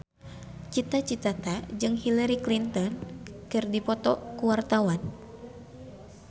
Cita Citata jeung Hillary Clinton keur dipoto ku wartawan